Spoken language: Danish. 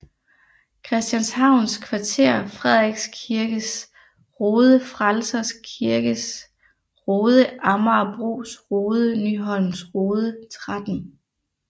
Christianshavns Kvarter Frederiks Kirkes Rode Frelsers Kirkes Rode Amagerbros Rode Nyholms Rode 13